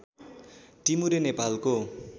टिमुरे नेपालको